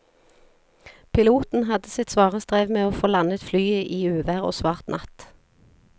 Piloten hadde sitt svare strev med å få landet flyet i uvær og svart natt.